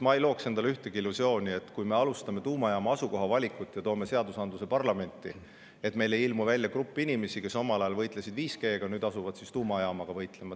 Ma ei looks endale ühtegi illusiooni, et kui me alustame tuumajaama asukoha valimist ja toome seadus parlamenti, siis meil ei ilmu välja grupp inimesi, kes omal ajal võitlesid 5G‑ga ja nüüd asuvad tuumajaamaga võitlema.